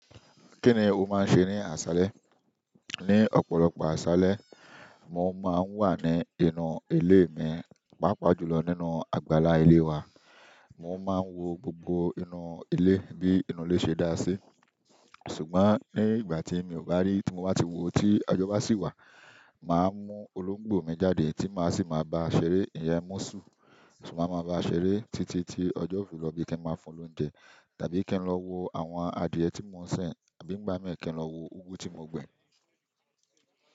Kini o maa n se ni asale? Ní ọ̀pọ̀lọpọ̀ aṣálẹ́, mò ń má ń wà ní inú ilé mi, pàápàá jùlọ nínú àgbàlá ilé wa. Mò má ń wo gbogbo inú ilé bí inú ilé ṣe dá sí. Ṣùgbọ́n ní ìgbà tí mi ò bá rí, tí mo bá ti wo tí ọjọ́ bá sì wà, màá mú olóńgbò mi jáde tí màá sì máa bá a ṣeré. Ìyẹn, musùn, so maa màá ba ṣeré títí tí ọjọ́ ó fi lọ bí i kí n máa fún un lóúnjẹ. Tàbí kí n lọ wo àwọn adìyẹ tí mò ń sin àbí n gbà mìí kí n lọ wo úgú tí mo gbin.